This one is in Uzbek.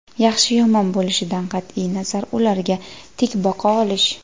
yaxshi yomon bo‘lishidan qatʼiy nazar ularga tik boqa olish.